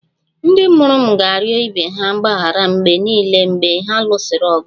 Ndị mụrụ m ga-arịọ ibe ha mgbaghara mgbe niile mgbe ha lụsịrị ọgụ